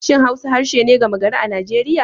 Shin Hausa harshe ne gama gari a Najeriya?